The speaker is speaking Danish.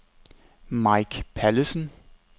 Mike Pallesen